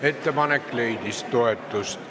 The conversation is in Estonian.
Ettepanek leidis toetust.